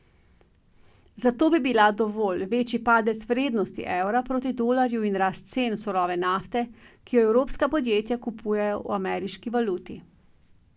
Za to bi bila dovolj večji padec vrednosti evra proti dolarju in rast cen surove nafte, ki jo evropska podjetja kupujejo v ameriški valuti.